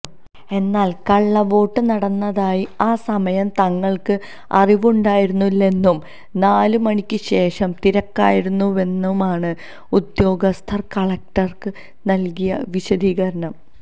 എന്നാല് കള്ളവോട്ട് നടന്നതായി ആ സമയം തങ്ങള്ക്ക് അറിവുണ്ടായിരുന്നില്ലെന്നും നാല് മണിക്ക് ശേഷം തിരക്കായിരുന്നുവെന്നുമാണ് ഉദ്യോഗസ്ഥര് കളക്ടര്ക്ക് നല്കിയ വിശദീകരണം